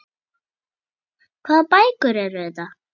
Hvaða bækur eru þetta?